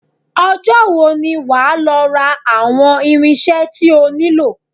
Ọjọ́ wo ni wà á lọ ra àwọn irinṣẹ́ tí o nílò?